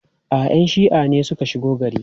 A'a, 'yan shi'a ne suka shigo gari.